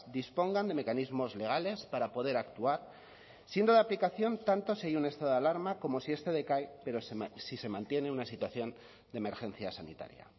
dispongan de mecanismos legales para poder actuar siendo de aplicación tanto si hay un estado de alarma como si este decae pero si se mantiene una situación de emergencia sanitaria